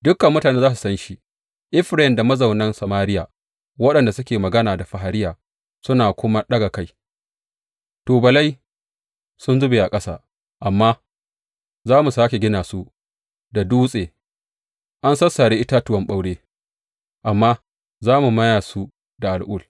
Dukan mutane za su san shi, Efraim da mazaunan Samariya, waɗanda suke magana da fariya suna kuma ɗaga kai, Tubalai sun zube a ƙasa, amma za mu sāke gina su da dutse; an sassare itatuwan ɓaure, amma za mu maya su da al’ul.